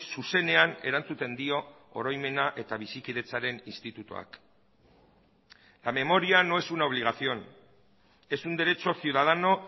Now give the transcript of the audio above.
zuzenean erantzuten dio oroimena eta bizikidetzaren institutuak la memoria no es una obligación es un derecho ciudadano